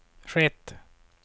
skett